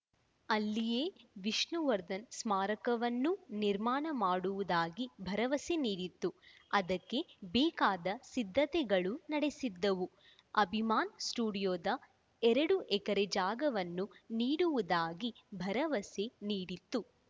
ಅಲ್ಲಿಯೇ ವಿಷ್ಣುವರ್ಧನ್‌ ಸ್ಮಾರಕವನ್ನೂ ನಿರ್ಮಾಣ ಮಾಡುವುದಾಗಿ ಭರವಸೆ ನೀಡಿತ್ತು ಅದಕ್ಕೆ ಬೇಕಾದ ಸಿದ್ಧತೆಗಳೂ ನಡೆಸಿದ್ದವು ಅಭಿಮಾನ್‌ ಸ್ಟುಡಿಯೋದ ಎರಡು ಎಕರೆ ಜಾಗವನ್ನು ನೀಡುವುದಾಗಿ ಭರವಸೆ ನೀಡಿತ್ತು